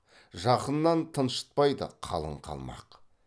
жақыннан тыншытпайды қалың қалмақ